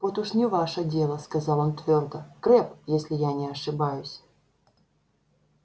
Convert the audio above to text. вот уж не ваше дело сказал он твёрдо крэбб если я не ошибаюсь